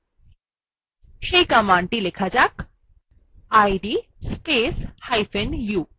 এই commandthe লিখুন id spacehyphen u